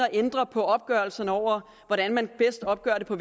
at ændre på opgørelserne over hvordan man bedst opgør det på